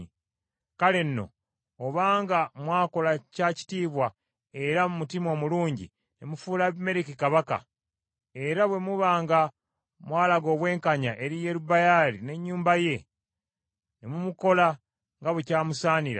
“Kale nno obanga mwakola kya kitiibwa era mu mutima omulungi ne mufuula Abimereki kabaka, era bwe muba nga mwalaga obwenkanya eri Yerubbaali n’ennyumba ye, ne mumukola nga bwe kyamusaanira,